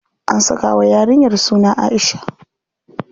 An saka wa yarinyar suna Aisha.